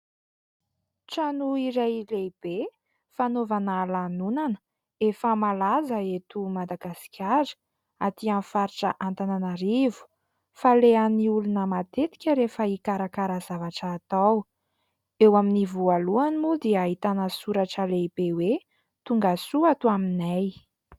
Trano iray lehibe, fanaovana lanonana, efa malaza eto Madagasikara, atỳ amin'ny faritra Antananarivo, falehan'ny olona matetika rehefa hikarakara zavatra atao. Eo amin'ny voalohany moa dia ahitana soratra lehibe hoe : "Tongasoa ato aminay".